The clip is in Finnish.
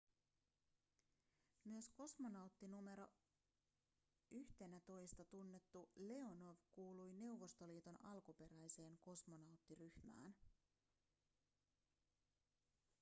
myös kosmonautti nro 11:nä tunnettu leonov kuului neuvostoliiton alkuperäiseen kosmonauttiryhmään